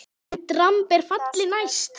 EN DRAMB ER FALLI NÆST!